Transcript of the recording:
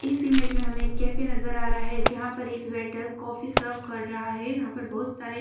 इस इमेज में हमें एक कैफे नजर आ रहा है जहाँ पर एक वेटर कॉफी सर्व कर रहा है यहाँ पर बहुत सारे --